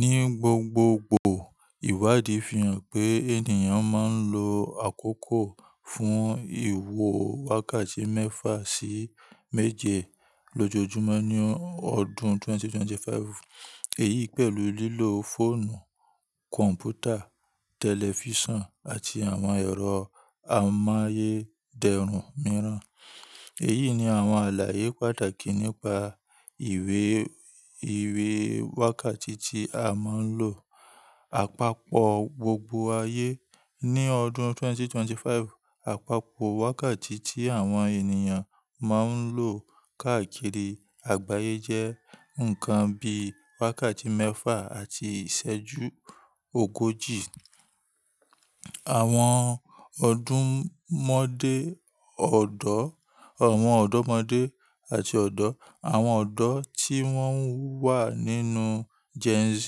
Ní gbogbogbò, ìwádìí fi hàn pé ènìyàn máa ń lo àkókò fún ìwo wákàtí mẹ́fà sí méje lójoojúmọ́ ní ọdún 2025. Èyí pẹ̀lú lílo fóònù, kọ̀m̀pútà, tẹlifíṣàn, àti àwọn ẹ̀rọ amáyé dẹrùn mìíràn. Èyí ni àwọn àlàyé pàtàkì nípa ìwè wákàtí tí a máa ń lò. Àpapọ̀ gbogbo ayé ní ọdún 2025, àpapọ̀ wákàtí tí àwọn ènìyàn máa ń lò káàkiri àgbáyé jẹ́ nǹkan bí i wákàtí mẹ́fà àti ìṣẹ́jú ògojí. Àwọn ọdún mọ́dé, ọ̀dọ̀, àwọn ọ̀dọ́ mọ́dé àti ọ̀dọ̀, àwọn ọ̀dọ́ tí wọ́n wà nínú Gen Z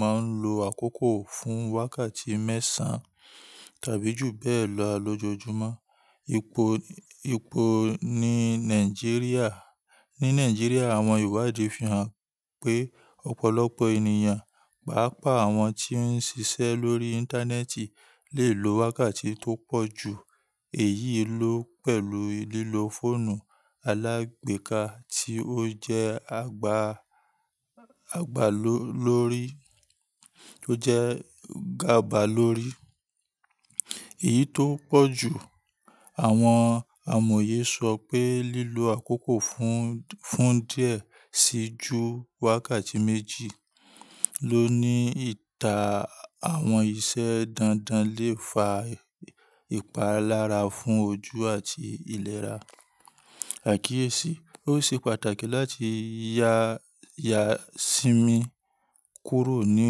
máa ń lo àkókò fún wákàtí mẹ́sàn-án tàbí jù bẹ́ẹ̀ lọ lójoojúmọ́. Ipò ní Nàìjíríà, ní Nàìjíríà àwọn ìwádìí fi hàn pé ọ̀pọ̀lọpọ̀ ènìyàn, pàápàá àwọn tí ń ṣiṣẹ́ lórí Íńtánẹ́ẹ̀tì lè lo wákàtí tó pọ̀ jù. Èyí lo pẹ̀lú lílo fóònù alágbèéká tí o jẹ àgbà ó jẹ́ gabà lórí. Èyí tó pọ̀ jù, àwọn amòye sọ pé lílo àkókò fún díẹ̀ síi ju wákàtí méjì ló ní ìta àwọn iṣẹ́ dandan lè fa ìpalára fún ojú àti ìlera àkíyèsí. Ó ṣe pàtàkì láti ya ya sinmi kúrò ní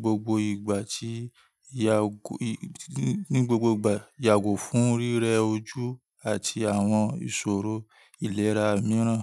gbogbo ìgbà tí, ní gbogbo ìgbà yàgò fún rírẹ́ ojú àti àwọn ìṣòro ìlera mìíràn.